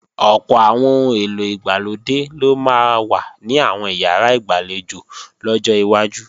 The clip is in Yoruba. Ọ̀pọ̀ àwọn ohun èlò ìgbàlódé ló máa wà ní àwọn ìyàrá ìgbàlejò lọ́jọ́ iwájú